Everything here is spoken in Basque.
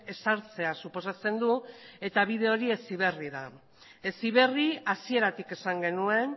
ezartzea suposatzen du eta bide hori heziberri da heziberri hasieratik esan genuen